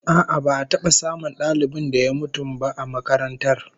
A'a, ba'a taba samun dalibin da ya mutum ba a makarantar